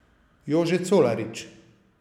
Jože Colarič.